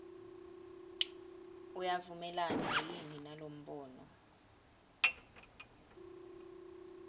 uyavumelana yini nalombono